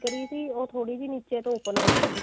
ਕਰੀ ਸੀ ਉਹ ਥੋੜੀ ਨੀਚੇ ਤੋਂ open ਰੱਖੀ ਤੀ